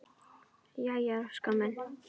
Jæja Óskar minn!